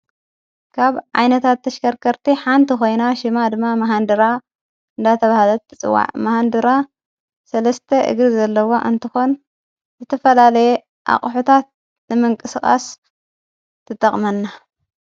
ጋብ ዓይነታት ተሽከርከርቲ ሓንቲ ኾይና ሽማ ድማ መሃንድራ እንዳተብሃለት ትጽዋዕ መሃንድራ ሠለስተ እግሪ ዘለዋ እንተኾን ዝተፈላለየ ኣቕሑታት ንመንቅ ስቓስ ትጠቕመና::